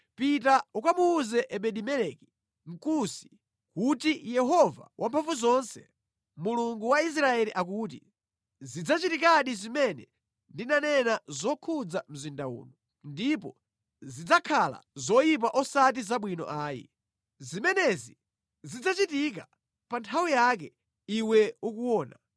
“Pita ukamuwuze Ebedi-Meleki, Mkusi, kuti, ‘Yehova Wamphamvuzonse, Mulungu wa Israeli akuti: Zidzachitikadi zimene ndinanena zokhudza mzinda uno; ndipo zidzakhala zoyipa osati zabwino ayi. Zimenezi zidzachitika pa nthawi yake iwe ukuona.